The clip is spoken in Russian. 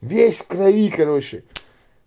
весь в крови короче